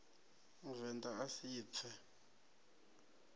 muvend a a si pfe